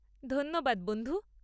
ধন্যবাদ বন্ধু।